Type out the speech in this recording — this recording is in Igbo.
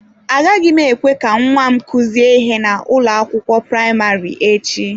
Agaghị m ekwe ka nwa m kuzie ihe na ụlọ akwụkwọ praịmarị echi.